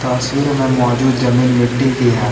में मौजूद जमीन मिट्टी की है।